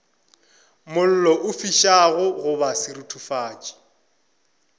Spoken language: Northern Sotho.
mollo o fišago goba seruthufatši